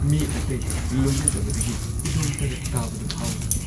ꯃꯤ ꯑꯇꯩ ꯂꯣꯏꯅꯗꯕꯗꯒꯤ ꯏꯗꯣꯝ ꯇꯔꯛ ꯇꯥꯕꯗꯨ ꯐꯥꯎꯏ ꯫